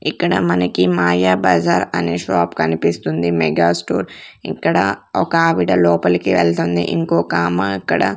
ఇక్కడ మనకి మాయాబజార్ అనే షాప్ కనిపిస్తుంది మెగా స్టోర్ ఇక్కడ ఒక ఆవిడ లోపలికి వెళ్తుంది ఇంకొక ఆమ అక్కడ--